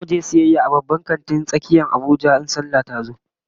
Zamu je sayayya a babban kantin tsakiyar Abuja in sallah tazo